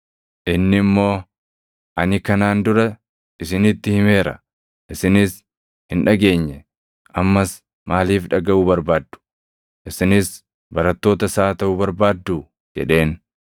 Inni immoo, “Ani kanaan dura isinitti himeera; isinis hin dhageenye. Ammas maaliif dhagaʼuu barbaaddu? Isinis barattoota isaa taʼuu barbaadduu?” jedheen.